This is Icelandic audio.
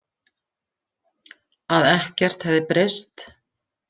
Að ekkert hefði breyst.